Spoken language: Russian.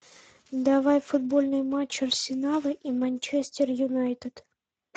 давай футбольный матч арсенала и манчестер юнайтед